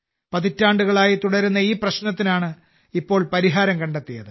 പതിറ്റാണ്ടുകളായി തുടരുന്ന ഈ പ്രശ്നത്തിനാണ് ഇപ്പോൾ പരിഹാരം കണ്ടെത്തിയത്